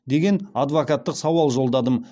деген адвокаттық сауал жолдадым